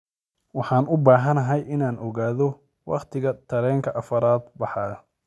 Waxaan u baahanahay inaan ogaado wakhtiga tareenka afraad baxayo